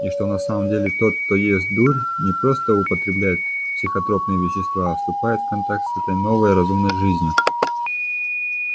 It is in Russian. и что на самом деле тот кто ест дурь не просто употребляет психотропные вещества а вступает в контакт с этой новой разумной жизнью